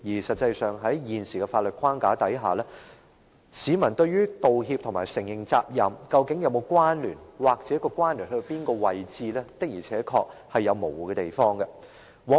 實際上，在現時的法律框架下，對於道歉和承認責任，究竟是否有關聯或相關的程度如何，市民的而且確是有模糊的地方。